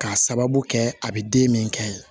K'a sababu kɛ a bɛ den min kɛ